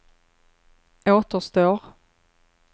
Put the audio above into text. återstår